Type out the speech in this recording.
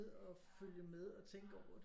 Og følge med og tænke over det